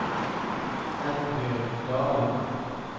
Eldbjørg Dalen